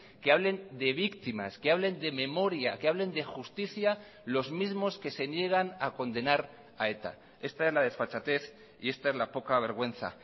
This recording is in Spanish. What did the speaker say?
que hablen de víctimas que hablen de memoria que hablen de justicia los mismos que se niegan a condenar a eta esta es la desfachatez y esta es la poca vergüenza